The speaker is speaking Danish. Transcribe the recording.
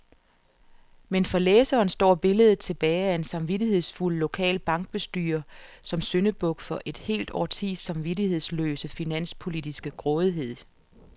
Men for læseren står billedet tilbage af en samvittighedsfuld lokal bankbestyrer som syndebuk for et helt årtis samvittighedsløse finanspolitiske grådighed.